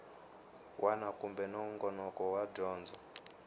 wana kumbe nongonoko wa dyondzo